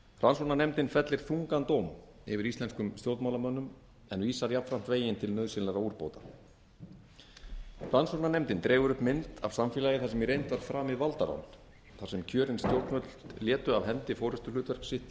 rannsóknarnefndin fellir þungan dóm yfir íslenskum stjórnmálamönnum en vísar jafnframt veginn til nauðsynlegra umbóta rannsóknarnefndin dregur upp mynd af samfélagi þar sem í reynd var framið valdarán þar sem kjörin stjórnvöld létu af hendi forustuhlutverk sitt